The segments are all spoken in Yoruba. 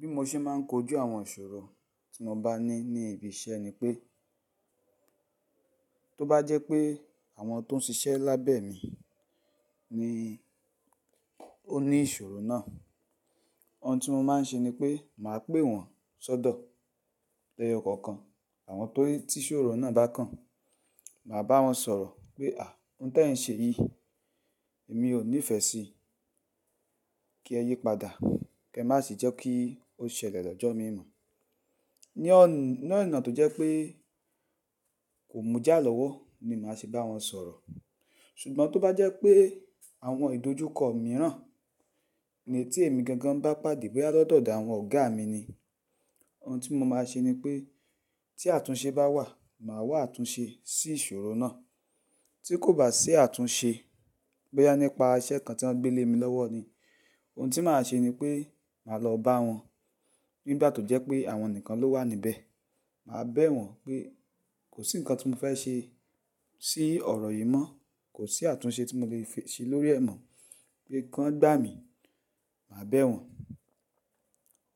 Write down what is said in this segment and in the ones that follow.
Bí mo ṣe ma n kojú àwọn ìṣòro tí mo bá ní ní ibi iṣẹ́ ni pé, tó bá jẹ́ pé àwọn tó ń ṣiṣẹ́ lábẹ́ mi ni ó ní ìṣòro náà, ohun tí mo ma n ṣe ni pé màá pè wọ́n sọ́dọ̀ lẹ́ yọ kọ̀ọ̀kan. Àwọn tó ti ìṣòro náà bá kàn, màá bá wọn sọ̀rọ̀ pé "àá, ohun tí ẹ̀ ń ṣe yìí, èmi ò nífẹ̀ẹ́ sí i. Kí ẹ yípadà, kí ẹ má ṣe jẹ́ kí ó ṣẹlẹ̀ lọ́jọ́ mímọ́." Ní ọ̀nà tó jẹ́ pé kò mú jà lọ́wọ́ ni màá ṣe bá wọn sọ̀rọ̀. Ṣùgbọ́n tó bá jẹ́ pé àwọn ìdojúkọ mìíràn ni tí èmi gangan bá pàdé, boya Latodo awon ọ̀gá mi ni, ohun tí mo máa ṣe ni pé tí àtúnṣe bá wà, màá wá àtúnṣe sí ìṣòro náà. Tí kò bá sí àtúnṣe, bóyá nípa iṣẹ́ kan tí wọ́n gbé lé mi lọ́wọ́ ni, ohun tí màá ṣe ni pé màá lọ bá wọn nígbà tó jẹ́ pé àwọn nìkan ló wà níbẹ̀. Màá bẹ̀ wọ́n pé kò sí nǹkan tí mo fẹ́ ṣe sí ọ̀rọ̀ yìí mọ́. Kò sí àtúnṣe tí mo le ṣe lórí ẹ̀ mọ́. Pé kí wọ́n gbà mí, màá bẹ̀ wọ́n.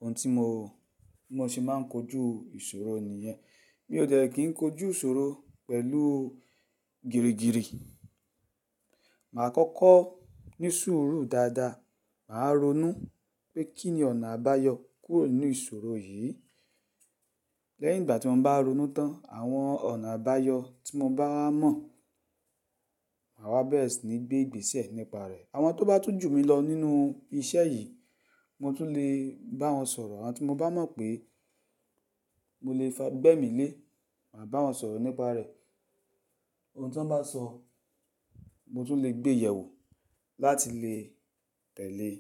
Ohun tí mo. Bi mo ṣe máa ń kojú ìṣòro nìyẹn. Mi ò dẹ̀ kí n kojú ìṣòro pẹ̀lú gìrì gìrì. Màá kọ́kọ́ ní sùúrù dáadáa. Màá ronú pé kí ni ọ̀nà àbáyọ kúrò nínú ìṣòro yìí. Lẹ́yìn ìgbà tí mo bá ronú tán, àwọn ọ̀nà àbáyọ tí mo bá mọ̀, màá wá bẹ̀rẹ̀ sí ní gbé ìgbésẹ̀ nípa rẹ̀. Àwọn tó bá tún jù mí lọ nínú iṣẹ́ yìí, mo tún lè bá wọn sọ̀rọ̀. Àwọn tí mo bá mọ̀ pé mo lè fi ara gbe emi le, màá bá wọn sọ̀rọ̀ nípa rẹ̀. Ohun tí wọ́n bá sọ, mo tún lè gbé ìyẹ̀wù láti lè tẹ̀lé é.